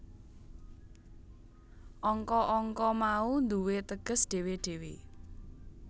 Angka angka mau duwé teges dhewe dhewe